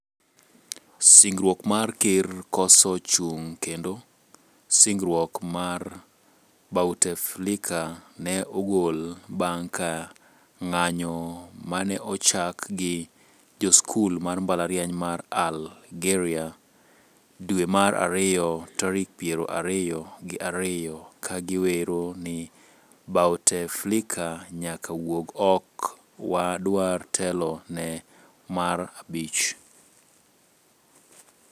singruok mar ker koso chung kendo. singruok mar Bouteflika ne ogol bang ka ng'anyo maneochak gi joskul mar mbalariany mar Algeria. dwe mar ariyo tarik piero ariyo gi ariyo ka giwero ni Bouteflika nyaka wuog ok wa dwar telo ne mar abich